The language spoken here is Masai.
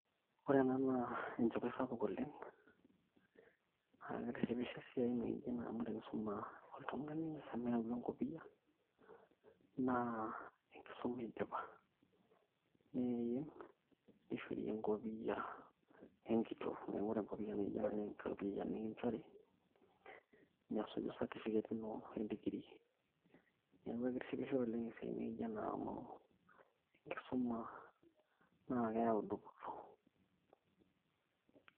ore ena naa enchipai sapuk oleng' naa kitishipisho esiai naijo ena amu tenisuma oltung'ani omeyau enkopiyia naa enkisuma idipa neim nishori enkopiyia enkitoo, neeku ore enkopiyia naijo ena naa enkopiyia nikinchori nesuju certificate ino endikiri niaku eketishipisho oleng' esiai naijo ena amu enkisuma naa keyau dupoto.